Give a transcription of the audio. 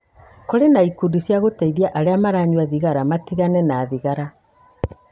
Kũrĩ na ikundi cia gũteithia arĩa maranyua thigara matigane na thigara.